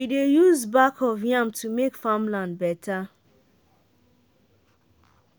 we dey use back of yam to make farmland better